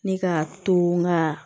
Ne ka to nga